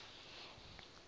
e be e tletše ka